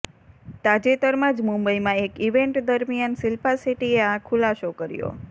તાજેતરમાં જ મુંબઈમાં એક ઈવેન્ટ દરમિયાન શિલ્પા શેટ્ટીએ આ ખુલાસો કર્યો